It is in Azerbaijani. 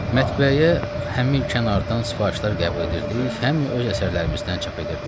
Mətbəəyə həm kənardan sifarişlər qəbul edirdik, həm öz əsərlərimizdən çap edirdik.